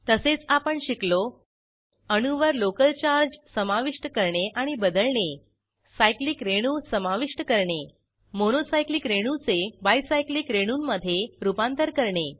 तसेच आपण शिकलो अणूवर लोकल चार्ज समाविष्ट करणे आणि बदलणे सायक्लिक रेणू समाविष्ट करणे मोनो सायक्लिक रेणूचे बाय सायक्लिक रेणूंमधे रूपांतर करणे